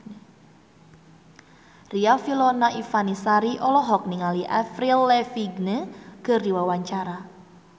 Riafinola Ifani Sari olohok ningali Avril Lavigne keur diwawancara